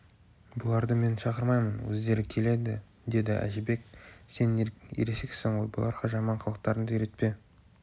бұларды мен шақырмаймын өздері келеді деді әжібек сен ересексің ғой бұларға жаман қылықтарыңды үйретпе